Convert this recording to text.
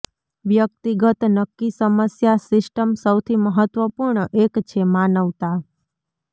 વ્યક્તિગત નક્કી સમસ્યા સિસ્ટમ સૌથી મહત્વપૂર્ણ એક છે માનવતા